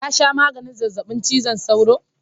ka sha maganin zazzabin cizon sauro?